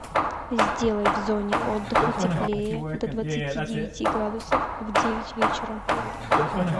сделай в зоне отдыха теплее до двадцати девяти градусов в девять вечера